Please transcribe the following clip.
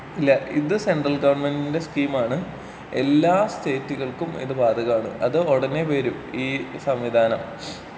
അല്ലാ ഇത് സെൻട്രൽ ഗവൺമെന്റിന്റെ സ്കീമാണ്. എല്ലാ സ്റ്റേറ്റുകൾക്കും ഇത് ബാധകമാണ്.അത് ഉടനെ വരും ഈ സംവിധാനം.